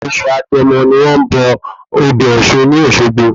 Oṣù agẹmọ ni wón bọ odò Òsun ní Òsogbo